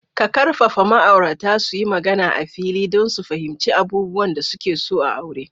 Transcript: Ka ƙarfafa ma'aurata su yi magana a fili don su fahimci abubuwan da suke so a aure.